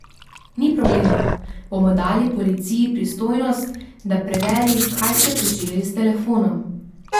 Ni problema, bomo dali policiji pristojnost, da preveri, kaj ste počeli s telefonom.